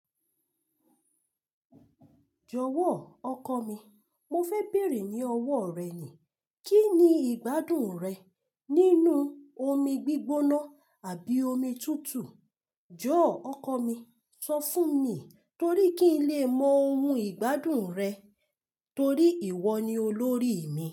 Jọ̀wọ́ ọkọ mi, mo fẹ́ bèèrè ní ọwọ́ rẹ ni. Kí ni ìgbádùn rẹ nínú omi gbígbóná àbí omi tútù? Jọ̀ọ́ ọkọ mi, sọ fún mi torí kí n lè mọ ohun ìgbádùn rẹ torí ìwọ ni olórí mi.